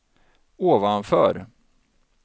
ovanför